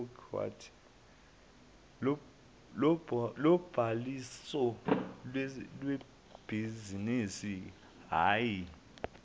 lobhaliso lebhizinisi hhayi